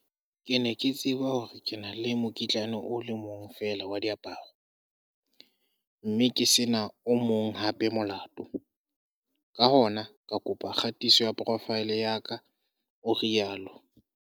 "Ke ne ke tseba hore ke na le mokitlane o le mong feela wa diaparo, mme ke se na o mong hape molato, ka hona ka kopa kgatiso ya profaele ya ka," o rialo.